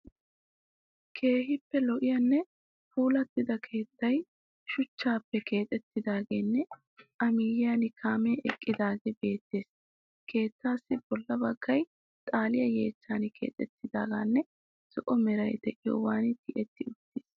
Keehippe lo'iyanne puulattida keettay shuchchaappe keexettidaagenne A miyyiyan kaamee eqqidaage beettees. Keettaassi bolla baggay xaaliya yeechchan kaqettidaageenne zo"o meray de'iyoban tiyetti uttiis.